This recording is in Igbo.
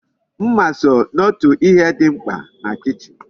Mma so n'otu ihe di mkpa na kichin